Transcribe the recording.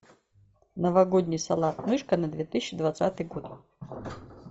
новогодний салат мышка на две тысячи двадцатый год